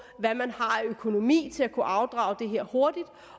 hvad man har af økonomi til at kunne afdrage det her hurtigt